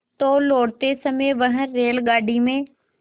तो लौटते समय वह रेलगाडी में